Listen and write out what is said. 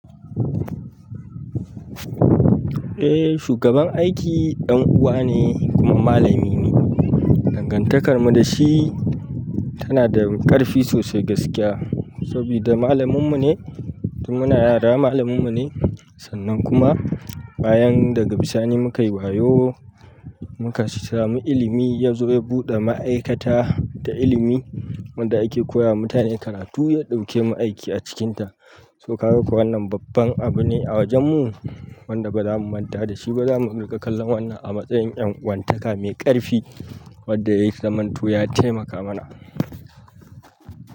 Eh, shugaban aiki ɗan uwa ne kuma malami ne. Dangantakar mu da shi tana da ƙarfi sosai gaskiya. Sabida malaminmu ne, tun muna yara malaminmu ne. Sannan kuma bayan daga bisani muka yi wayo, muka sami ilimi, ya zo ya buɗe ma'aikata da ilimi wanda ake koya wa mutane karatu ya ɗauke mu aiki a cikinta. So kaga ko wannan babban abu ne a wajenmu. Wanda ba za mu manta da shi ba. Ba za mu riƙa kallon wannan a matsayin ƴan uwantaka mai ƙarfi. Wadda ta zamanto ya taimaka mana.